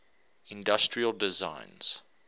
industrial designs